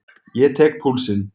Ég tek púlsinn.